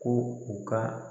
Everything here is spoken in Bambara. Ko u ka